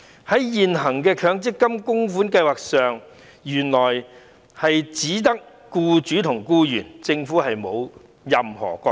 原來，現行的強積金計劃只涉及僱主和僱員，政府沒有任何角色。